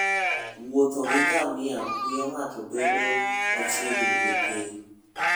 wuotho gi ngamia miyo ng'ato bedo machiegni gi piny.